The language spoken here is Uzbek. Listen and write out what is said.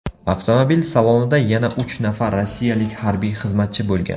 Avtomobil salonida yana uch nafar rossiyalik harbiy xizmatchi bo‘lgan.